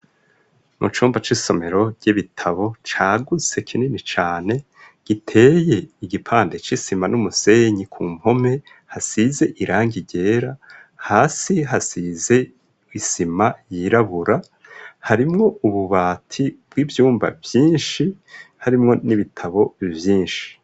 Mu cumba c'isomero ry'ibitabo ca gutse kinini cane giteye igipande c'isima n'umusenyi ku mpome hasize irangi ryera hasi hasize isima yirabura harimwo ububati bw'ibyumba byinshi harimwo n'ibitabo vyinshi.